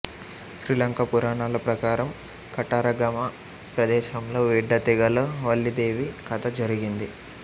శ్రీలంక పురాణాల ప్రకారం కటరగమా ప్రదేశంలో వెడ్డా తెగలో వల్లీదేవి కథ జరిగింది